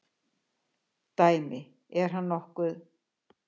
Dæmi: Er hann nokkuð.